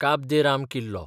काब दे राम किल्लो